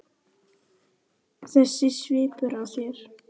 Þessi svipur á þér.